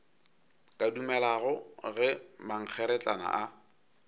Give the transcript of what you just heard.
ka dumelago ge mankgeretlana a